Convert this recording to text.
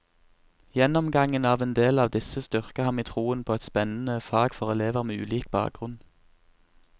Gjennomgangen av en del av disse styrker ham i troen på et spennende fag for elever med ulik bakgrunn.